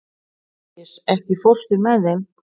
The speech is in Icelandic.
Aríus, ekki fórstu með þeim?